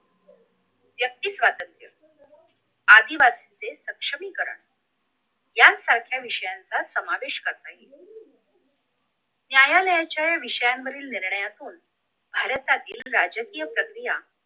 व्यक्ती स्वतंत्र आदिवासींचे संक्षीमीकरण यासारख्या विषयांना समावेश करता येईल न्यायालयाच्या या विषयावरील निर्णयावरून भारतातील राजकीय प्रक्रिया